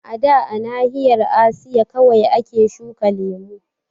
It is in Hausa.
A da a nahiyar Asiya kawai ake shukan lemu